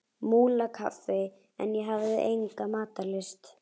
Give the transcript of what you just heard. Múlakaffi en ég hafði enga matarlyst.